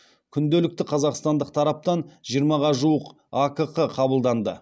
күнделікті қазақстандық тараптан жиырмаға жуық акқ қабылданды